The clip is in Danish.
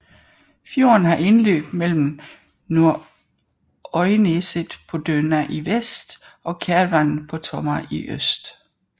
Fjorden har indløb mellem Nordøyneset på Dønna i vest og Kervan på Tomma i øst